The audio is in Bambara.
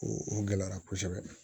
O o gɛlɛyara kosɛbɛ